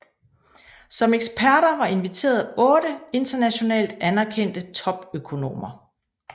Som eksperter var inviteret otte internationalt anerkendte topøkonomer